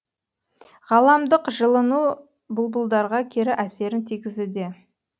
ғаламдық жылыну бұлбұлдарға кері әсерін тигізуде